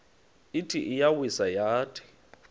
ithi iyawisa yathi